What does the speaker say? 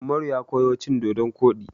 Ummaru ya koyo cin dodon koɗi.